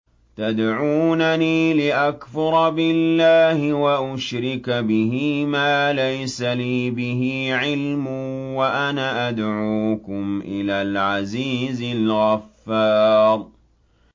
تَدْعُونَنِي لِأَكْفُرَ بِاللَّهِ وَأُشْرِكَ بِهِ مَا لَيْسَ لِي بِهِ عِلْمٌ وَأَنَا أَدْعُوكُمْ إِلَى الْعَزِيزِ الْغَفَّارِ